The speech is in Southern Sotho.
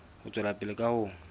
ho tswela pele ka ho